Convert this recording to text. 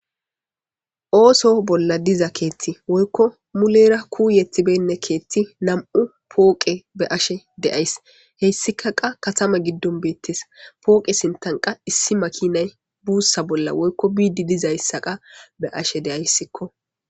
ooso bolla diza keethti woykko mulera kuuyetibenne keetti nam7u pooqe be ashe deays heyssika qa katama giddon beettes pooqe sintanqa issi makinay buussa bolla woykko biidi dizayssaqa be'ashe de'ayssikko